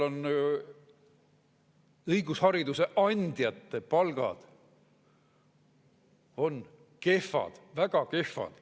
Õigushariduse andjate palgad on kehvad, väga kehvad.